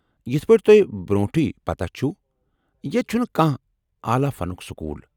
یِتھہٕ پٲٹھۍ تۄہہ برونٹھٕے پتاہ چھو ، ییتہِ چُھنہٕ كانہہ عالیٰ فنُك سكوٗل ۔